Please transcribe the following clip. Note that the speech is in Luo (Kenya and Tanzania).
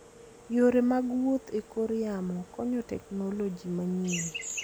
Yore mag wuoth e kor yamo konyo teknoloji manyien.